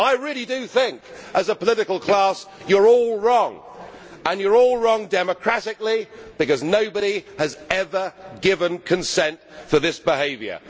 I really do think as a political class you are all wrong, and you are all wrong democratically because nobody has ever given consent for this behaviour.